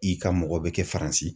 I ka mɔgɔ bɛ kɛ Faransi.